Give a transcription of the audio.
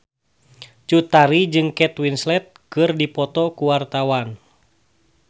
Cut Tari jeung Kate Winslet keur dipoto ku wartawan